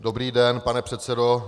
Dobrý den, pane předsedo.